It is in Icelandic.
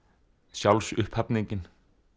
sjálfsupphafningin